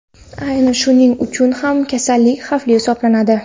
Aynan shuning uchun ham kasallik xavfli hisoblanadi.